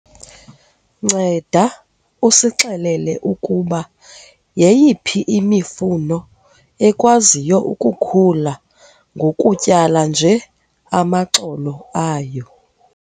Nceda usixelele ukuba yeyiphi imifuno ekwaziyo ukukhula ngokutyala nje amaxolo ayo.